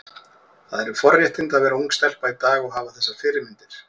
Það eru forréttindi að vera ung stelpa í dag og hafa þessar fyrirmyndir.